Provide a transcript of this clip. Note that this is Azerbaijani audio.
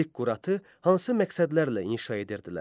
Ziqquratı hansı məqsədlərlə inşa edirdilər?